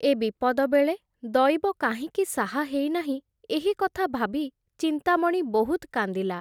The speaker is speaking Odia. ଏ ବିପଦ ବେଳେ, ଦଇବ କାହିଁକି ସାହା ହେଇ ନାହିଁ, ଏହି କଥା ଭାବି, ଚିନ୍ତାମଣି ବହୁତ୍ କାନ୍ଦିଲା ।